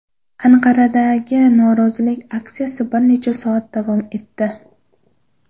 Anqaradagi norozilik aksiyasi bir necha soat davom etdi.